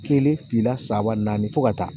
Kelen fila saba naani fo ka taa